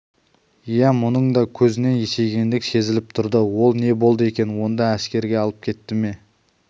иә мұның да көзінен есейгендік сезіліп тұрды ол не болды екен онда әскерге алып кетті ме